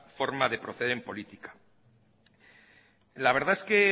forma de proceder en política la verdad es que